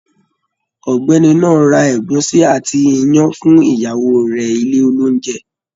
Ọ̀gbẹ́ni náà ra ẹ̀gúsí àti iyán fún ìyàwó rẹ̀ ilé oĺúnjẹ